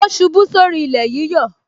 O ṣubú sórí ilé yíyọ